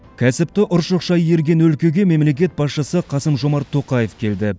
кәсіпті ұршықша иірген өлкеге мемлекет басшысы қасым жомарт тоқаев келді